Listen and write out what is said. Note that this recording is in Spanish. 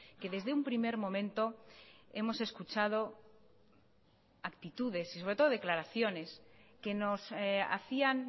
que desde un primer momento hemos escuchado actitudes y sobre todo declaraciones que nos hacían